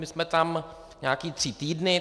My jsme tam nějaké tři týdny.